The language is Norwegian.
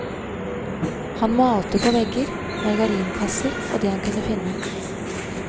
Han malte på vegger, margarinkasser og det han kunne finne.